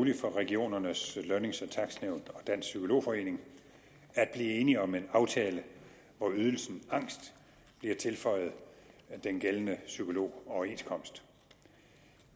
muligt for regionernes lønnings og takstnævn og dansk psykolog forening at blive enige om en aftale hvor ydelsen angst bliver tilføjet den gældende psykologoverenskomst